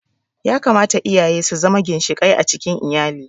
Ya kamata iyaye su zama ginshiƙai a cikin iyali